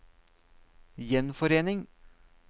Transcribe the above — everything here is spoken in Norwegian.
gjenforening